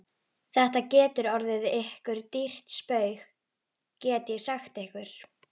Þetta getur orðið ykkur dýrt spaug, get ég sagt ykkur!